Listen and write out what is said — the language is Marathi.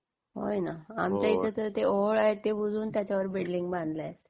होय ना. आमच्या इथे तर ते ओहोळ आहे ते बुजवून त्याच्यावर बिल्डिंग बांधल्या आहेत.